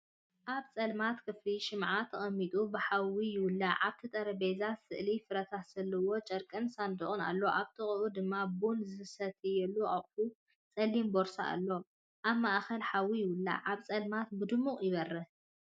ኣብ ጸልማት ክፍሊ ሽምዓ ተቐሚጡ ብሓዊ ይውላዕ። ኣብቲ ጠረጴዛ ስእሊ ፍረታት ዘለዎ ጨርቂን ሳንዱቕ ኣሎ። ኣብ ጥቓኡ ድማ ቡን ዝሰትየሉ ኣቑሑትን ጸሊም ቦርሳን ኣሎ። ኣብ ማእከል ሓዊ ይውላዕ፣ ኣብ ጸልማት ብድሙቕ ይበርህ።